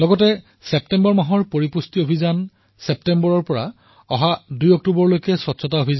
ছেপ্টেম্বৰ মাহত পোষণ অভিযানত আৰু বিশেষকৈ ১১ ছেপ্টেম্বৰৰ পৰা ২ অক্টোবৰলৈ স্বচ্ছতা অভিযানত